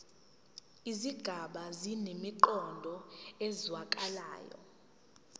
izigaba zinemiqondo ezwakalayo